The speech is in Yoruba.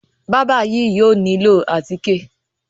Bábà yìí yóò nílò àtíkè.